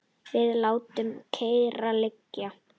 Við látum kyrrt liggja